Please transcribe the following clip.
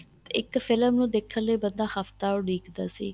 ਇੱਕ ਫ਼ਿਲਮ ਨੂੰ ਦੇਖਣ ਲਈ ਬੰਦਾ ਹੱਫ਼ਤਾਂ ਉਡੀਕਦਾ ਸੀ